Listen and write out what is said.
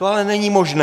To ale není možné.